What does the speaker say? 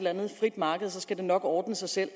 andet frit marked og så skal det nok ordne sig selv